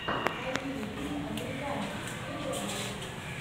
найди мне фильм американцы серия восемь